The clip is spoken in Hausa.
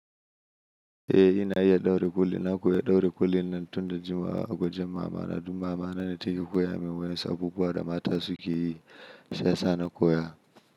Eh ina iya ɗaure kulli, na koya ɗaure kulli nan tun da jimawa, a wajen mamana, don mama ne take koya min wasu abubuwa da mata suke yi shi ya sa na koya.